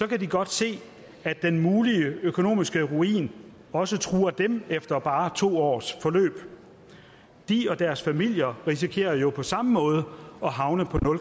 kan de godt se at den mulige økonomiske ruin også truer dem efter bare to års forløb de og deres familier risikerer jo på samme måde at havne på